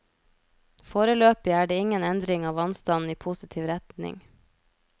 Foreløpig er det ingen endring av vannstanden i positiv retning.